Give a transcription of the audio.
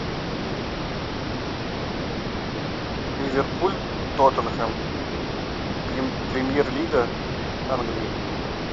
ливерпуль тоттенхэм премьер лига англии